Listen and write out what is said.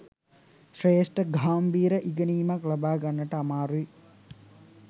ශ්‍රේෂ්ඨ ගාම්භීර ඉගෙනීමක් ලබා ගන්නට අමාරුයි.